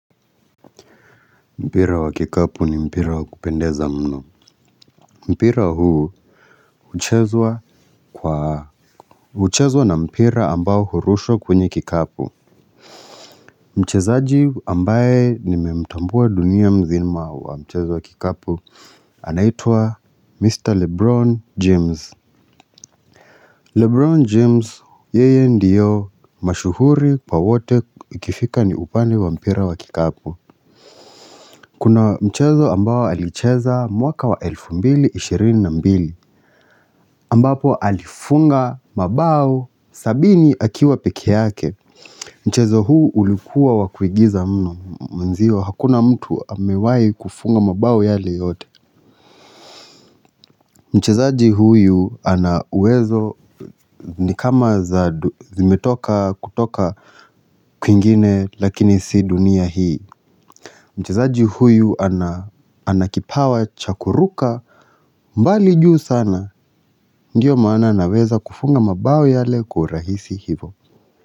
Mpira wa kikapu ni mpira wa kupendeza mno. Mpira huu huchezwa kwa huchezwa na mpira ambao hurushwa kwenye kikapu. Mchezaji ambaye nimemtambua dunia mzima wa mchezo wa kikapu anaitwa Mr. Lebron James. Lebron James yeye ndiyo mashuhuri pa wote ikifika ni upande wa mpira wa kikapu. Kuna mchezo ambao alicheza mwaka wa elfu mbili ishirini na mbili ambapo alifunga mabao sabini akiwa peke yake. Mchezo huu ulikuwa wa kuigiza mno. Hakuna mtu amewahi kufunga mabao yale yote. Mchezaji huyu ana uwezo ni kama za zimetoka kutoka kwingine lakini si dunia hii. Mchezaji huyu ana kipawa cha kuruka mbali juu sana. Ndio maana anaweza kufunga mabao yale kwa urahisi hivo.